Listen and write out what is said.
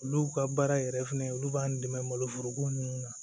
Olu ka baara yɛrɛ fɛnɛ olu b'an dɛmɛ maloforoko nunnu na